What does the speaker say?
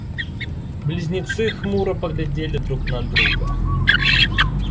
близнецы хмуро поглядели друг на друга